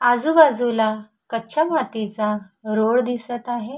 आजुबाजुला कच्या मातीचा रोड दिसत आहे.